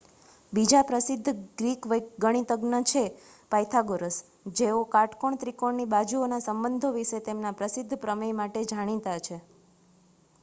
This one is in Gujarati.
બીજા પ્રસિદ્ધ ગ્રીક ગણિતજ્ઞ છે પાયથાગોરસ જેઓ કાટકોણ ત્રિકોણોની બાજુઓના સંબંધો વિશે તેમના પ્રસિદ્ધ પ્રમેય માટે જાણીતા છે